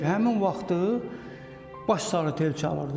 Həmin vaxtı baş sardi tel çalırdı.